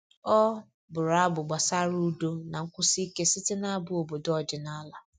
Ọ bụrụ abụ gbasara udo na nkwụsi ike site nabụ obodo ọdịnala